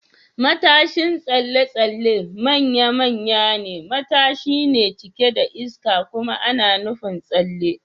Matashin tsalle-tsalle manya-manyan matashi ne cike da iska kuma ana nufin tsalle.